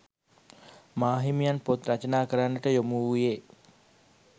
මාහිමියන් පොත් රචනා කරන්නට යොමුවූයේ